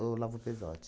Olavo Pesote.